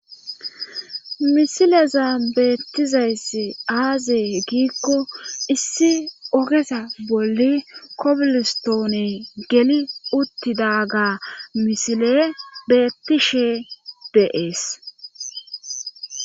Misileza beettizayssi aazee giikko issi ogesa bolli kobilistoone geli uttidaga misile bettishe beees